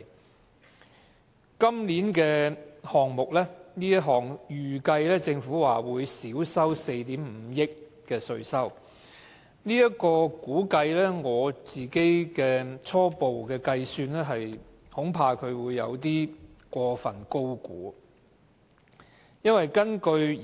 政府估計今年這個項目會令稅收減少4億 5,000 萬元，但根據我的初步計算，恐怕這是過分高估，因為根據